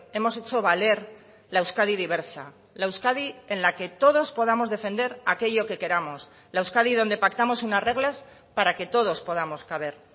hemos hecho valer la euskadi diversa la euskadi en la que todos podamos defender aquello que queramos la euskadi donde pactamos unas reglas para que todos podamos caber